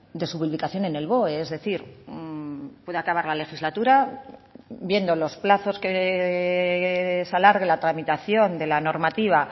de su publicación en el boe es decir puede acabar la legislatura viendo los plazos que se alargue la tramitación de la normativa